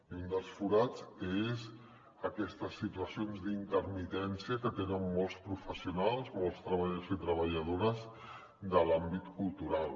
i un dels forats és aquestes situacions d’intermitència que tenen molts professionals molts treballadors i treballadores de l’àmbit cultural